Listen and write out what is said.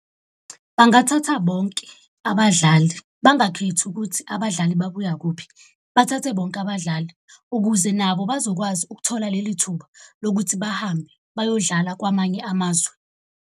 Bangathatha bonke abadlali, bangakhethi ukuthi abadlali babuya kuphi. Bathathe bonke abadlali, ukuze nabo bazokwazi ukuthola leli thuba lokuthi bahambe bayodlala kwamanye amazwe.